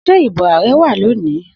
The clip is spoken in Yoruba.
Se ibo ààrẹ wa loni?